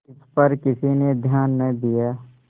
इस पर किसी ने ध्यान न दिया